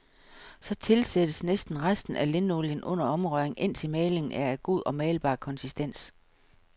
Så tilsættes næsten resten af linolien under omrøring, indtil malingen er af god og malbar konsistens.